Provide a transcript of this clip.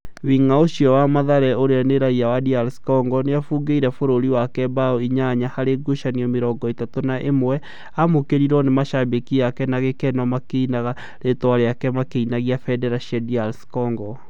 Wing’a ũcio wa mathare ũrĩa nĩ raiya wa DR Congo nĩ abungĩire bũrũri wake mbaũ inyanya harĩ ngucanio mĩrongo ĩtatũ na ĩmwe, aamũkĩrirũo nĩ mashambiki ake na gĩkeno makĩinaga rĩtwa rĩake makĩinagia bendera cia DR Congo